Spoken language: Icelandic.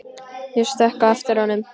Ég stökk á eftir honum.